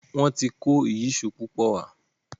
Wón tí kò Ìyíṣòó púpọ wá.